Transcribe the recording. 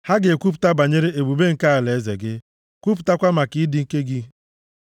Ha ga-ekwupụta banyere ebube nke alaeze gị. Kwupụtakwa maka ịdị ike gị,